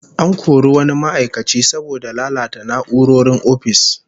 An kori wani ma'aikaci saboda lalata na'urorin ofis